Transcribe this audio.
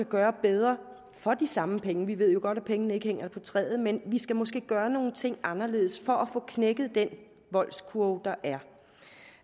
gøre bedre for de samme penge vi ved jo godt at pengene ikke hænger på træerne men vi skal måske gøre nogle ting anderledes for at få knækket den voldskurve der er